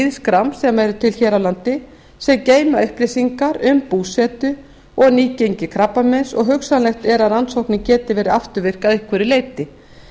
lýðskrám sem eru til hér á landi sem geyma upplýsingar um búsetu og nýgengi krabbameins og hugsanlegt er að rannsóknin geti verið afturvirk að einhverju leyti